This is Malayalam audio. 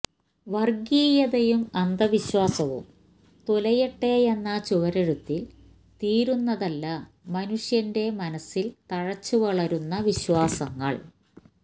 വർഗ്ഗിയതയും അന്ധവിശ്വാസവും തുലയട്ടെയെന്ന ചുവരെഴുത്തിൽ തീരുന്നതല്ല മനുഷ്യൻ്റെ മനസിൽ തഴച്ച് വളരുന്ന വിശ്വാസങ്ങൾ